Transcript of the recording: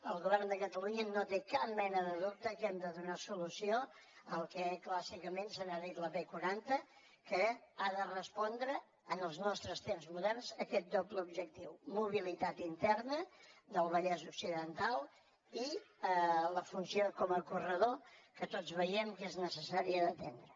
el govern de catalunya no té cap mena de dubte que hem de donar solució al que clàssicament se n’ha dit la b quaranta que ha de respondre en els nostres temps moderns a aquest doble objectiu mobilitat interna del vallès occidental i la funció com a corredor que tots veiem que és necessària d’atendre